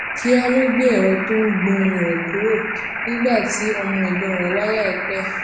kíá ló gbé èrọ tó ń gbó ohùn rè kúrò nígbà tí ọmọ ègbón rè wá láìpè é